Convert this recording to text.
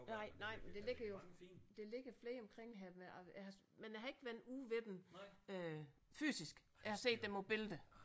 Nej nej men der ligger jo der ligger flere omkring her men jeg jeg har jeg har ikke været ude ved dem øh fysisk jeg har set dem på billeder